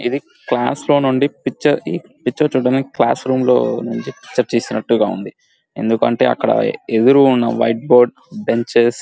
ఇది క్లాస్ లో నుండి పిక్చర్ పిక్చర్ చూడ్డానికి క్లాస్ రూమ్ లో నుంచి పిక్చర్ తీసినట్టు ఉంది ఎందుకంటే అక్కడ ఎదురు ఉన్న వైట్ బోర్డ్ బెంచెస్ --